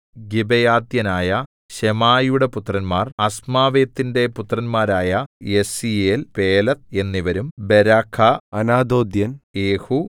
ഗിബേയാത്യനായ ശെമായയുടെ പുത്രന്മാർ അസ്മാവെത്തിന്റെ പുത്രന്മാരായ യസീയേൽ പേലെത്ത് എന്നിവരും ബെരാഖാ അനാഥോത്യൻ യേഹൂ